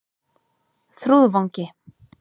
Þrúðvangi